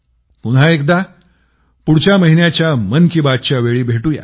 पुन्हा एकदा पुढच्या महिन्याच्या मन की बात च्या वेळी भेटूया